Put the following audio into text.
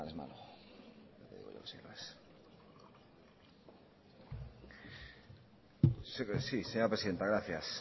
sí señora presidenta gracias